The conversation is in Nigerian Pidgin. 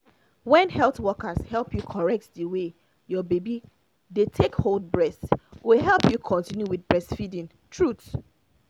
when health workers help you correct the way your baby dey take hold breast go help you continue with breastfeeding truth